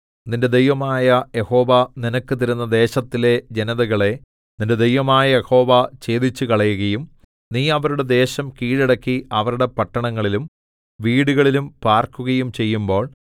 നിന്റെ ദൈവമായ യഹോവ നിനക്ക് തരുന്ന ദേശത്തിലെ ജനതകളെ നിന്റെ ദൈവമായ യഹോവ ഛേദിച്ചുകളയുകയും നീ അവരുടെ ദേശം കീഴടക്കി അവരുടെ പട്ടണങ്ങളിലും വീടുകളിലും പാർക്കുകയും ചെയ്യുമ്പോൾ